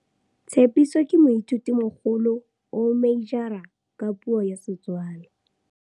Tshepiso ke moithutimogolo, o meijara ka puo ya Setswana.